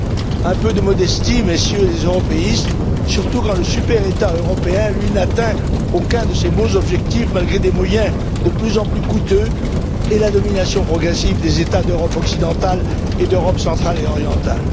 Alors un peu de modestie, Messieurs les européistes, surtout quand le super État européen, lui, n'atteint aucun de ses objectifs, malgré des moyens de plus en plus coûteux et la domination progressive des États d'Europe occidentale et d'Europe centrale et orientale.